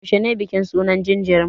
Yaushe ne bikin suna ga jariri?